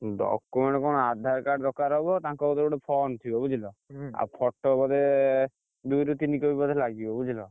Document କଣ ଗୁଟେ Aadhaar card ଦରକାର ହବ ତାଙ୍କ କତିରେ ଗୁଟେ form ଥିବ ବୁଝିଲ, ଆଉ photo ବୋଧେ, ଦୁଇ ରୁ ତିନି copy ଲାଗିବ ବୁଝିଲ।